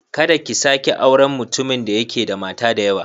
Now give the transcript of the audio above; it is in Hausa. Kada ki sake auren mutumin da yake da mata da yawa.